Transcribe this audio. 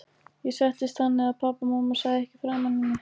Ég settist þannig að pabbi og mamma sæju ekki framan í mig.